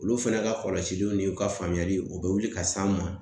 Olu fɛnɛ ka kɔlɔsiliw ni u ka faamuyali u bɛ wIli ka s'an ma